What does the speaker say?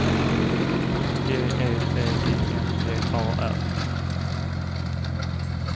G E T I N G A R